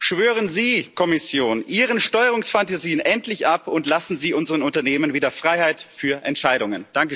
Schwören Sie, Kommission, Ihren Steuerungsfantasien endlich ab und lassen Sie unseren Unternehmen wieder Freiheit für Entscheidungen!